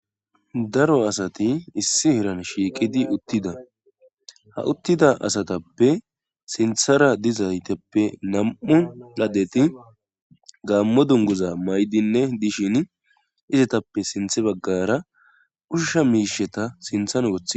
Daro asati issi heran shiiqidi uttida ha uttida asatappe sinthara dizaytappe nam7u laddeti gaammo dunguza maydinne dishin izetappe sinthe baggara ushusha miisheta sinthan woththi